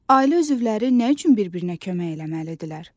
Ailə üzvləri nə üçün bir-birinə kömək eləməlidirlər?